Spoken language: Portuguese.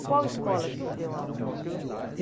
E qual escola que o senhor deu aula?